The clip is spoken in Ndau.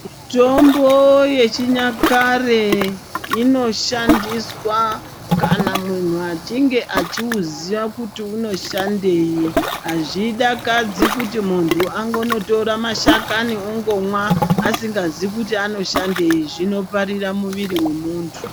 Mitombo yechinyakare inoshandiswa kana munhu achinge achiuziya kuti unoshandei, azvidakadzi kuti munthu angonotora mashakani ongomwa asingazii kuti anoshandei zvinoparira muviri womuntu.